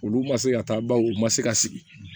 Olu ma se ka taa baw u ma se ka sigi